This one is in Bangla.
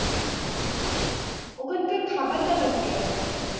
উম ওখানকার খাওয়ার দাওয়ার কীরকম?